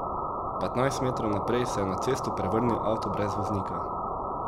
Petnajst metrov naprej se je na cesto prevrnil avto brez voznika.